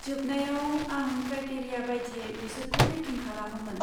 जोबनायाव, आं क्राटेरिया बायदियै बिसोरखौ रेटिं खालामोमोन।